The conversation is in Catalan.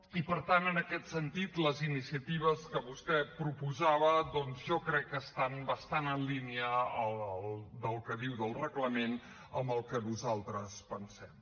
i per tant en aquest sentit les iniciatives que vostè proposava doncs jo crec que estan bastant en línia del que diu del reglament amb el que nosaltres pensem